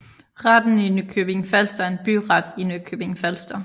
Retten i Nykøbing Falster er en byret i Nykøbing Falster